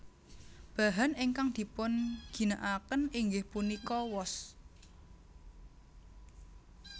Bahan ingkang dipunginakaken inggih punika wos